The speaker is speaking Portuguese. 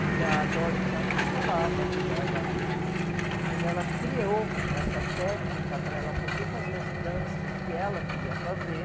Que a Doris Humphrey falava que ela, quando ela criou essa técnica para ela poder fazer as danças que ela queria fazer,